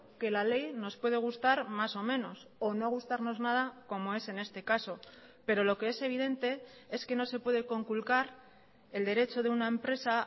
que la ley nos puede gustar más o menos o no gustarnos nada como es en este caso pero lo que es evidente es que no se puede conculcar el derecho de una empresa